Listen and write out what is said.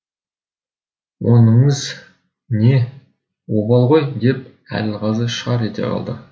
оныңыз не обал ғой деп әділғазы шар ете қалды